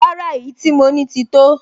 Rárá, èyí tí mo ní ti tó